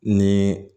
Ni